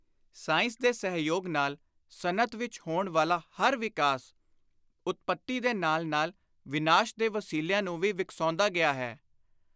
Science ਦੇ ਸਹਿਯੋਗ ਨਾਲ ਸਨਅਤ ਵਿਚ ਹੋਣ ਵਾਲਾ ਹਰ ਵਿਕਾਸ ਉਤਪੱਤੀ ਦੇ ਨਾਲ ਨਾਲ ਵਿਨਾਸ਼ ਦੇ ਵਸੀਲਿਆਂ ਨੂੰ ਵੀ ਵਿਕਸਾਉਂਦਾ ਗਿਆ ਹੈ।